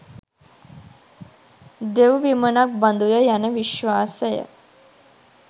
දෙව්විමනක් බඳුය යන විශ්වාසය